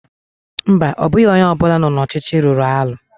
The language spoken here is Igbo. mba, ọ bụghị onye ọ bụla nọ n'ọchịchị rụrụ arụ